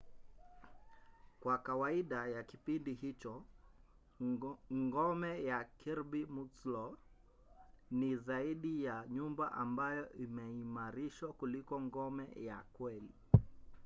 kwa kawaida ya kipindi hicho ngome ya kirby muxloe ni zaidi ya nyumba ambayo imeimarishwa kuliko ngome ya kweli